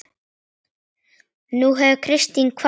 Nú hefur Kristín kvatt okkur.